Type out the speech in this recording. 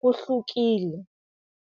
kuhlukile.